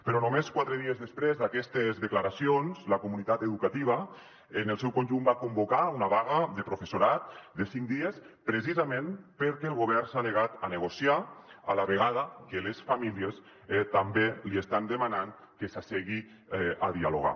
però només quatre dies després d’aquestes declaracions la comunitat educativa en el seu conjunt va convocar una vaga de professorat de cinc dies precisament perquè el govern s’ha negat a negociar a la vegada que les famílies també li estan demanant que s’assegui a dialogar